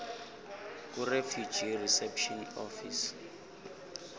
kurefugee reception office